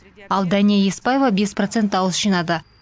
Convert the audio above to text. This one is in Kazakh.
ал дәния еспаева бес процент дауыс жинады